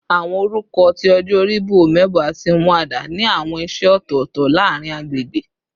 Awọn orukọ ti ọjọ ori bi "Omebo" ati "Umuada" ni awọn iṣẹ ọtọtọ laarin agbegbe